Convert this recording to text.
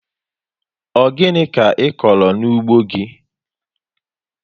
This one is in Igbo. Ọ gịnị ka ịkọrọ n'ugbo gị